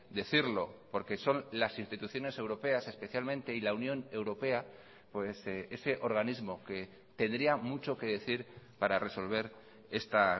decirlo porque son las instituciones europeas especialmente y la unión europea ese organismo que tendría mucho que decir para resolver esta